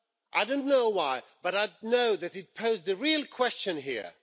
I don't know why, but I do know that it poses a real question here.